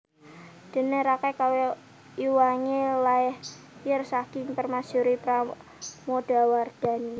Dene Rakai Kayuwangi lair saking permaisuri Pramodawardhani